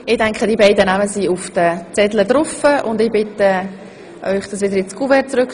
Damit haben wir den Teil der Wahlen erledigt, den wir übernehmen.